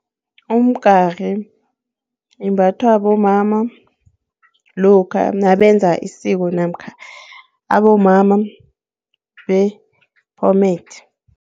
Umgari imbathwa bomama lokha nabenza isiko namkha abomama bephomede.